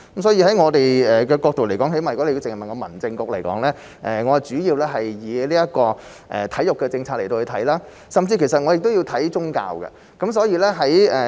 所以，從我們的角度而言，最低限度從民政事務局的角度而言，我們主要以體育政策來看，甚至亦要顧及宗教方面。